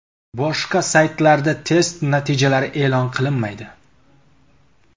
Boshqa saytlarda test natijalari e’lon qilinmaydi.